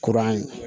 Kuran ye